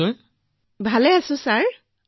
আমাৰ বৰ ভাল ছাৰ